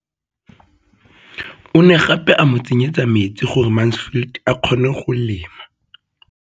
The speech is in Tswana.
O ne gape a mo tsenyetsa metsi gore Mansfield a kgone go lema.